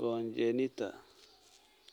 congenita?